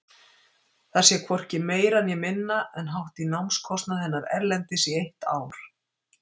Það sé hvorki meira né minna en hátt í námskostnað hennar erlendis í eitt ár.